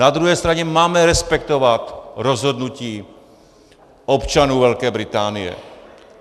Na druhé straně máme respektovat rozhodnutí občanů Velké Británie.